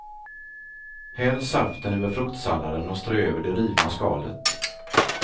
Häll saften över fruktsalladen och strö över det rivna skalet.